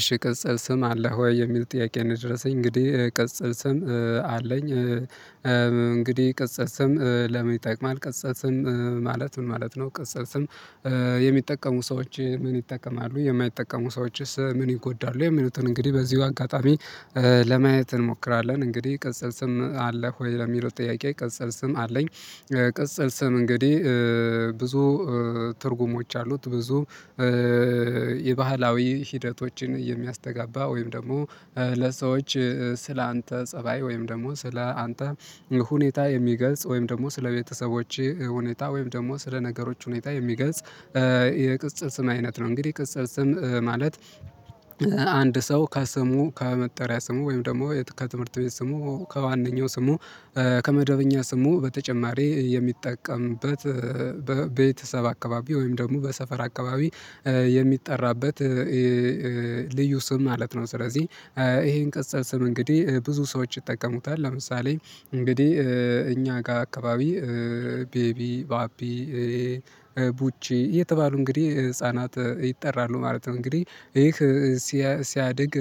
እሺ ቅጽል ስም አለህ ወይ የሚል ጥያቄ ነው? የደረሰኝ እንግዲህ ቅጽል ስም አለኝ። እንግዲህ ቅጽል ስም ለምን ይጠቅማል ቅጽል ስም ማለት ምን ማለት ነው? ቅጽል ስም የሚጠቀሙ ሰዎች ምን ይጠቀማሉ የማይጠቀሙ ሰዎችስ ምን ይጎዳሉ? የሚሉትን እንግዲህ በዚሁ አጋጣሚ ለማየት እንሞክራለን። እንግዲህ ቅጽል ስም አለህ ሆይ ለሚለው ጥያቄ ቅጽል ስም አለኝ። ቅጽል ስም እንግዲህ ብዙ ትርጉሞች አሉት ብዙ የባህላዊ ሂደቶችን የሚያስተጋባ ወይም ደግሞ ለሰዎች ስለ አንተ ፀባይ ወይም ደግሞ ስለ አንተ ሁኔታ የሚገልጽ ወይም ደግሞ ስለቤተሰቦቼ ሁኔታ ወይም ደግሞ ስለነገሮች ሁኔታ የሚገልጽ የቅጽል ስም አይነት ነው። እንግዲህ ቅጽል ስም ማለት አንድ ሰው ካስሙ ከመጠሪያ ስሙ ወይም ደግሞ ከትምህርት ቤት ስሙ ከዋነኛው ስሙ ከመደበኛ ስሙ በተጨማሪ የሚጠቀምበት በቤተሰብ አካባቢ ወይም ደግሞ በሰፈር አካባቢ የሚጠራበት ልዩ ስም ማለት ነው። ስለዚህ ይሄን ቅጽል ስም እንግዲህ ብዙ ሰዎች ይጠቀሙታል። ለምሳሌ እንግዲህ እኛ ጋር አካባቢ ቤቢ ባቢ ቡቺ እየተባሉ እንግዲህ ህፃናት ይጠራሉ ማለት ነው። እንግዲህ ይህ ሲያድግ